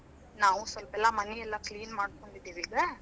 ನಾವೂ ಸ್ವಲ್ಪೇಲ್ಲಾ ಮನಿಯೆಲ್ಲ clean ಮಾಡ್ಕೊಂಡಿದೀವಿ ಈಗ.